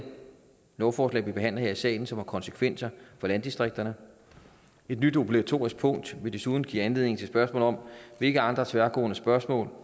lovforslag som vi behandler her i salen som har konsekvenser for landdistrikterne og et nyt obligatorisk punkt vil desuden give anledning til spørgsmål om hvilke andre tværgående spørgsmål